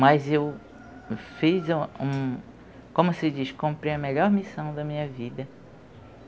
Mas eu fiz, um como se diz, cumpri a melhor missão da minha vida.